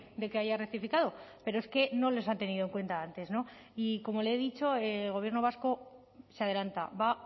de que haya rectificado pero es que no les han tenido en cuenta antes y como le he dicho el gobierno vasco se adelanta va